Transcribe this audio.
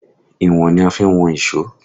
Ìwọ̀n ni a fi ń wọn ìṣó